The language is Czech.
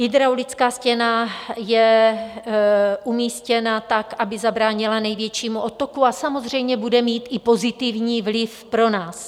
Hydraulická stěna je umístěna tak, aby zabránila největšímu odtoku, a samozřejmě bude mít i pozitivní vliv pro nás.